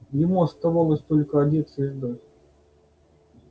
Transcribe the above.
ему оставалось только одеться и ждать